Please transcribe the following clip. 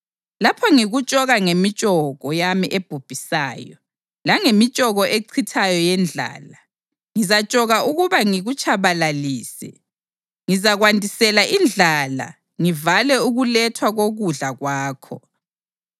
Lapho ngikutshoka ngemitshoko yami ebhubhisayo, langemitshoko echithayo yendlala, ngizatshoka ukuba ngikutshabalalise. Ngizakwandisela indlala ngivale ukulethwa kokudla kwakho.